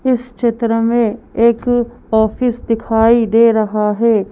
इस चित्र में एक ऑफिस दिखाई दे रहा है।